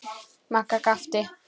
Magga gapti.